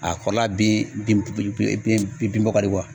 A kɔrɔla bin bin bin bin bɔkadi wa?